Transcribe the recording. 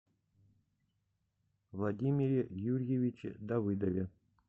владимире юрьевиче давыдове